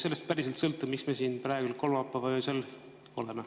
Sellest päriselt sõltub, miks me siin praegu, kolmapäeva öösel oleme.